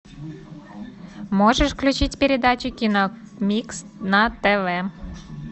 можешь включить передачу киномикс на тв